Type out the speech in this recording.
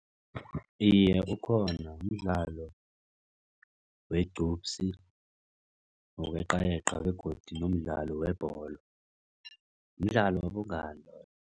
Iye, ukhona mdlalo wegqupsi wokweqayeqa begodu nomdlalo webholo. Mdlalo wobungami loyo.